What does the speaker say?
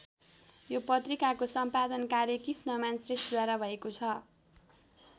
यो पत्रिकाको सम्पादन कार्य कृष्णमान श्रेष्ठद्वारा भएको छ।